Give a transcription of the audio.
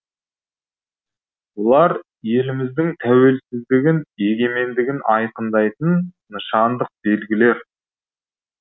бұлар еліміздің тәуелсіздігін егемендігін айқындайтын нышандық белгілер